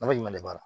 Nafa jumɛn b'a la